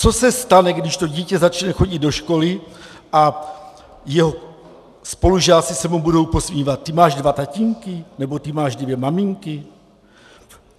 Co se stane, když to dítě začne chodit do školy a jeho spolužáci se mu budou posmívat "ty máš dva tatínky" nebo "ty máš dvě maminky"?